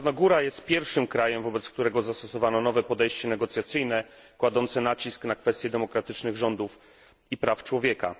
Czarnogóra jest pierwszym krajem, wobec którego zastosowano nowe podejście negocjacyjne kładące nacisk na kwestie demokratycznych rządów i praw człowieka.